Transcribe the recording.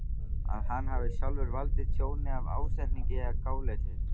að hann hafi sjálfur valdið tjóni af ásetningi eða gáleysi.